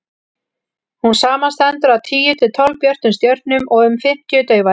hún samanstendur af tíu til tólf björtum stjörnum og um fimmtíu daufari